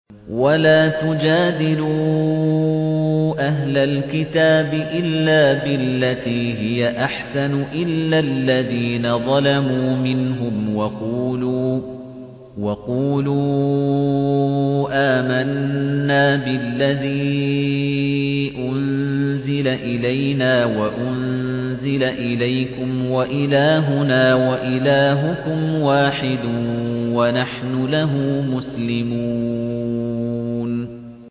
۞ وَلَا تُجَادِلُوا أَهْلَ الْكِتَابِ إِلَّا بِالَّتِي هِيَ أَحْسَنُ إِلَّا الَّذِينَ ظَلَمُوا مِنْهُمْ ۖ وَقُولُوا آمَنَّا بِالَّذِي أُنزِلَ إِلَيْنَا وَأُنزِلَ إِلَيْكُمْ وَإِلَٰهُنَا وَإِلَٰهُكُمْ وَاحِدٌ وَنَحْنُ لَهُ مُسْلِمُونَ